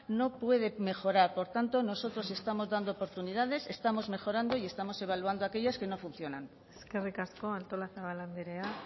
no puede mejorar por tanto nosotros estamos dando oportunidades estamos mejorando y estamos evaluando aquellas que no funcionan eskerrik asko artolazabal andrea